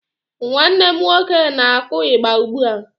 Nwanne m nwoke na kụ igba ugbụa.